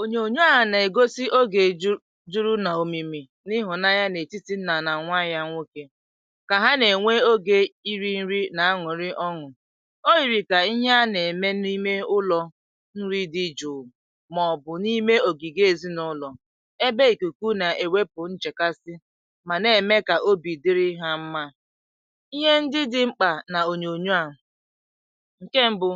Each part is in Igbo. ònyònyo a nà-ègosi ogè juru nà òmìmì n’ihụ̀nanya n’etìtì nnà nà nwàyá̀ nwokė kà ha nà-ènwe ogè iri̇ nri nà anwùrị ọnwụ̀. O yìrì kà ihe a nà-ème n’ime ụlọ̇ nri dị jùù, màọ̀bù n’ime ògìgò èzinụ̇lọ̀, ebe ìkùkù nà-èwepụ̀ nchèkasi, mà nà-ème kà obì dịrị ihe mmȧ. Ihe ndị dị mkpa nà ònyònyo a — ǹkè mbu̇,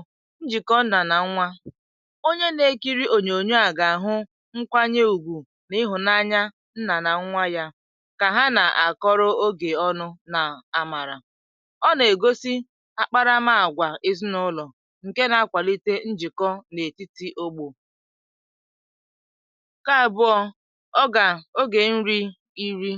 onye na-ekiri ònyònyo à gà-àhụ nkwanye ùgwù nà ịhụ̀nanya nnà nà nwa yà, kà ha nà-àkọrọ ogè ọnụ nà àmàrà. Ọ nà-ègosi àkparamàgwà èzinụlọ̀ ǹkè na-akwàlite njìkọ n’etìtì ogbò. Ọ gà à bụ ogè nri iri,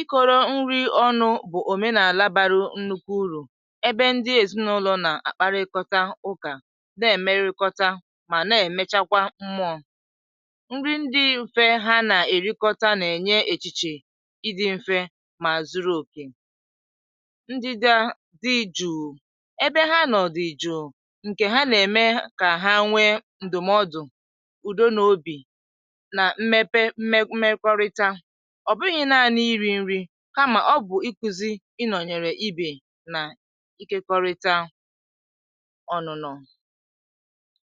ị kọ̀rọ̀ nri ọnụ̇ bụ̀ òmenàlà bara nnukwu urù ebe ndị èzinụlọ̀ nà-ákparịkọ́tà ụkà, mà nà-èmechakwa mmụọ̇. Nri ndị mfe ha nà-èrikọta nà-ènye èchìchè ịdị̇ mfe mà zuru òkè; ndị dị a dị jùù ebe ha nọ̀dị̀ jùù, ǹkè ha nà-ème kà ha nwee ǹdụ̀mọdụ̀, ùdo, nà obì nà mmepe mmekọrịta. Ọ̀ bụghị̇ nanị iri̇ nri, kamà ọ gụ̀zìrì ịkụzi̇ ịnọ̀nyere ibe, nà ikekọrịta ọnụ̇nọ̀,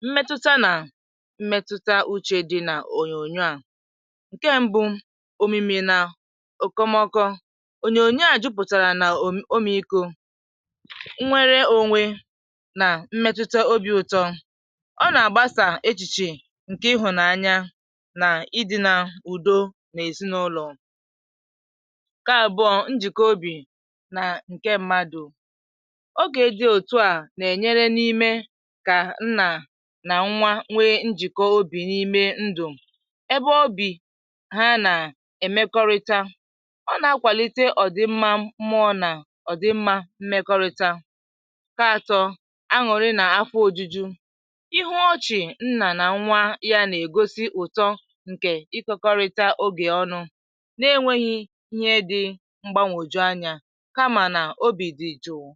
mmetụta, nà mmetụta uche dị n’ònyònyo a. um Ǹkè mbụ, òmìmì nà òkomọkọ, ònyònyo à jupùtàrà nà òmìiko, nnwere ònwe, nà mmetụta obì ùtọ; ọ nà-àgbasà echìchè ǹkè ịhụ̀nanya nà ịdị̇ nà ùdo nà èsi n’ụlọ̀. Ǹkè àbụ̀ọ, njìkọ obì nà ǹkè mmadụ̇, oge dị òtù à nà-ènyere n’ime kà nnà nà nwa nwe njìkọ obì n’ime ndụ̀, ebe obì ha nà-èmekọrịta, ọ nà-akwàlite ọ̀dị mmȧ mụọ nà ọ̀dị mmȧ mmekọrịta. Ka atọ̇, àṅụ̀rị nà afọ ojuju, ịhụ̀ ọchị̀ nnà nà nwa yà nà-ègosi ụtọ ǹkè ịkọkọrịta ogè ọnụ, n’enwèghị ihe dị mgbànwòjù anyȧ, kamà nà obì dì jụụ.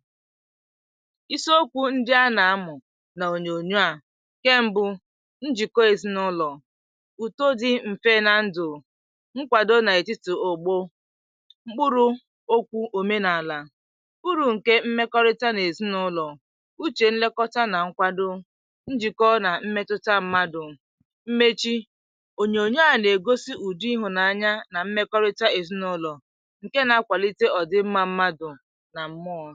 Iso okwu ndị a nà-amụ̀ nà ònyònyo à — ǹkè mbụ, njìkọ èzinụlọ̀, ùtọ dị mfe nà ndụ̀, nkwàdo nà etìtì ògbò. Mkpụrụ okwu̇ òmenàlà kpụrụ̇ ǹkè mmekọrịta n’èzinụlọ̀ — ùchè, nlekọta, nà nkwàdo, njìkọ nà mmetuta mmadụ̀. N’ime mmechi, ònyònyo a nà-ègosi ùdị̀ ịhụ̀nanya nà mmekọrịta èzinụlọ̀, ǹkè nà-akwàlite ọ̀dị mmȧ mmadụ̀ nà mmọ̀ọ.